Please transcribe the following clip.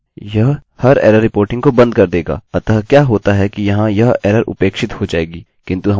अतः क्या होता है कि यहाँ यह एररerror उपेक्षित हो जाएगी किन्तु हमारी विशिष्ट एररerror यूजरप्रयोगकर्ता को मिलेगी